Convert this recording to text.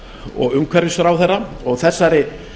og umhverfisráðherra og þessari